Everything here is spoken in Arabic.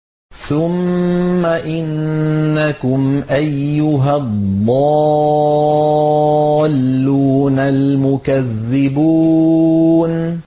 ثُمَّ إِنَّكُمْ أَيُّهَا الضَّالُّونَ الْمُكَذِّبُونَ